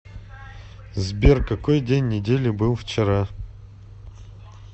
сбер какой день недели был вчера